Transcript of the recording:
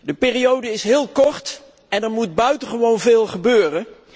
De periode is heel kort en er moet buitengewoon veel gebeuren.